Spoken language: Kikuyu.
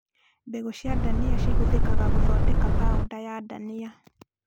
Mbegũ cia ndania cihũthĩkaga gũthondeka paonda ya ndania